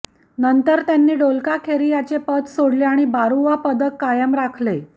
नंतर त्यांनी डोलकाखेरियाचे पद सोडले आणि बरुआ पदक कायम राखले